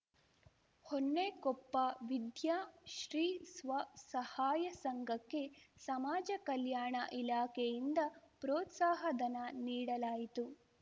ಹೊನ್ನೆಕೊಪ್ಪ ವಿದ್ಯಾಶ್ರೀ ಸ್ವಸಹಾಯ ಸಂಘಕ್ಕೆ ಸಮಾಜ ಕಲ್ಯಾಣ ಇಲಾಖೆಯಿಂದ ಪ್ರೋತ್ಸಾಹ ಧನ ನೀಡಲಾಯಿತು